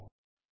Ltd